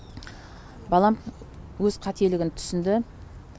балам өз қателігін түсінді